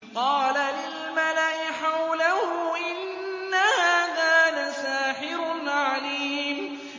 قَالَ لِلْمَلَإِ حَوْلَهُ إِنَّ هَٰذَا لَسَاحِرٌ عَلِيمٌ